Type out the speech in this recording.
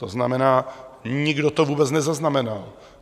To znamená, nikdo to vůbec nezaznamenal.